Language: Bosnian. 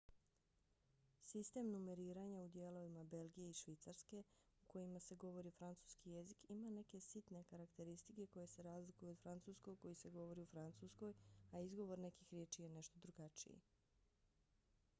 sistem numeriranja u dijelovima belgije i švicarske u kojima se govori francuski jezik ima neke sitne karakteristike koje se razlikuju od francuskog koji se govori u francuskoj a izgovor nekih riječi je nešto drugačiji